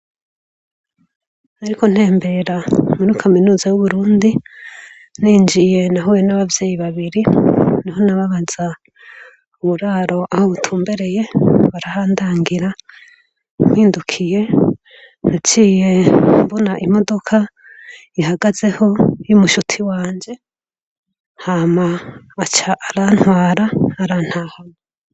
Nariko ntembera muri Kaminuza y'Uburundi injiye nahuye nabavyeyi babiri niho nababaza uburaro aho butumbereye barahandangira mpindukiye naciye mbona imodoka ihagazeho y'umushuti wanje hama aca arantwara arantahana.